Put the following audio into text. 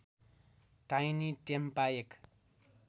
tiny टेम्पा एक